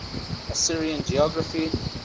assyrian geography